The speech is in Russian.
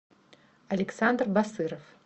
александр басыров